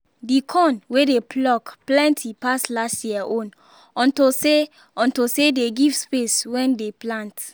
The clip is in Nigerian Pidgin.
the corn wey dey pluck plenty pass last year own unto say unto say they give space wen dey plant